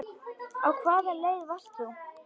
Á hvaða leið varst þú?